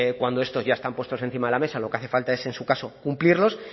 cuando estos ya están puestos encima de la mesa lo que hace falta es en su caso cumplirlos